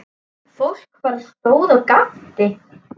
Fólk bara stóð og gapti.